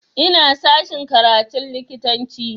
Ina sashen karatun likitanci